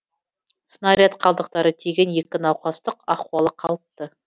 снаряд қалдықтары тиген екі науқастық ахуалы қалыпты